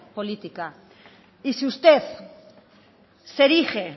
política y si usted se erige